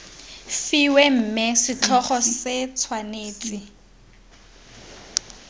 fiwe mme setlhogo se tshwanetse